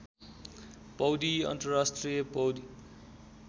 पौडी अन्तर्राष्ट्रिय पौडी